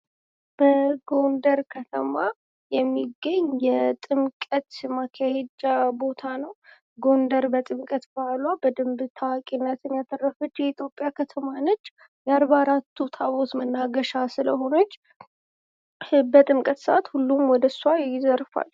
በጎንደር ከተማ የሚገኝ የጥምቀት ማካሄጃ ቦታ ነው ። ጎንደር በጥምቀት በዓሏ በደምብ ታዋቂነትን ያተረፈች የኢትዮጵያ ከተማ ነች ። የአርባ አራቱ ታቦት መናገሻ ስለሆነች በጥምቀት ሰአት ሁሉም ወደ እርሷ ይዘርፋል።